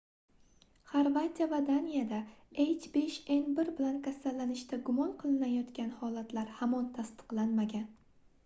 xorvatiya va daniyada h5n1 bilan kasallanishda gumon qilinayotgan holatlar hamon tasdiqlanmagan